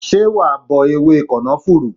Ṣé wa bọ ewé kànáfùrú?